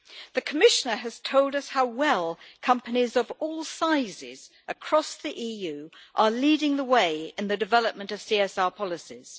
The Commissioner has told us how well companies of all sizes across the EU are leading the way in the development of CSR policies.